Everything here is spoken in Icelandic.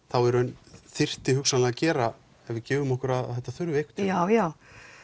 þá í raun en þurfti hugsanlega að gera ef við gefum okkur að þetta þurfi einhvern tímann já já